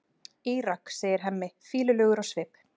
Írak, segir Hemmi, fýlulegur á svip.